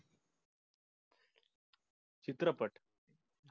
चित्रपट